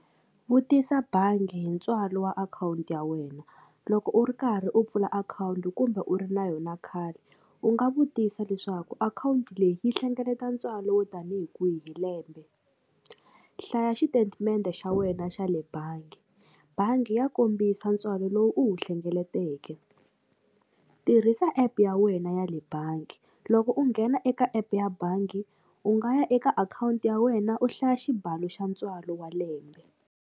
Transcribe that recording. Vutisa bangi hi ntswalo wa akhawunti ya wena loko u ri karhi u pfula akhawunti kumbe u ri na yona khale u nga vutisa leswaku akhawunti leyi yi hlengeleta ntswalo wo tanihi kwihi hi lembe hlaya xitetimende xa wena xa le bangi bangi ya kombisa ntswalo lowu u wu hlengeleteke tirhisa epu ya wena ya le bangi loko u nghena eka epu ya bangi u nga ya eka akhawunti ya wena u hlaya xibalo xa ntswalo wa lembe.